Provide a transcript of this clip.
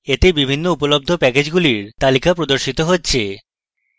এটিতে বিভিন্ন উপলব্ধ প্যাকেজগুলির তালিকা প্রদর্শিত হচ্ছে